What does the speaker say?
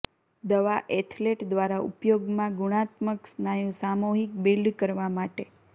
દવા એથ્લેટ દ્વારા ઉપયોગમાં ગુણાત્મક સ્નાયુ સામૂહિક બિલ્ડ કરવા માટે